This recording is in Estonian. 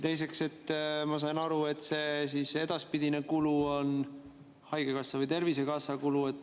Teiseks, ma sain aru, et see edaspidine kulu on Tervisekassa kulu.